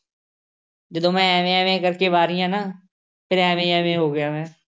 ਜਦੋਂ ਮੈਂ ਐਵੇਂ ਐਵੇਂ ਕਰਕੇ ਵਾਰੀਆਂ ਨਾ, ਫੇਰ ਐਵੇਂ ਐਵੇਂ ਹੋ ਗਿਆ ਮੈਂ,